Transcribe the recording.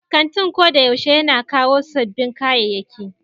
Kantin ko da yaushe yana kawo sabbin kayayyaki.